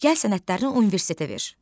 Gəl sənədlərini universitetə ver.